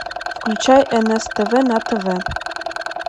включай нс тв на тв